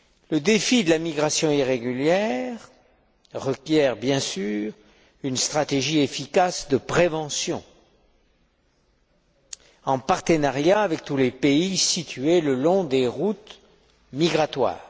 Le défi de la migration irrégulière requiert, bien sûr, une stratégie efficace de prévention, en partenariat avec tous les pays situés le long des routes migratoires.